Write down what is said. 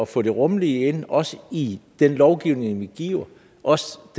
få det rummelige ind også i den lovgivning han giver også